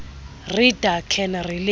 reader can relate